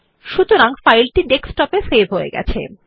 সুতরাং ফাইলটি ডেস্কটপে সেভ হয়ে যায়